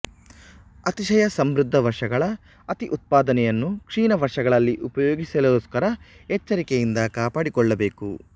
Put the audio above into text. ಅತಿಶಯ ಸಮೃದ್ಧ ವರ್ಷಗಳ ಅತಿ ಉತ್ಪಾದನೆಯನ್ನು ಕ್ಷೀಣ ವರ್ಷಗಳಲ್ಲಿ ಉಪಯೋಗಿಸಲೋಸ್ಕರ ಎಚ್ಚರಿಕೆಯಿಂದ ಕಾಪಾಡಿಕೊಳ್ಳಬೇಕು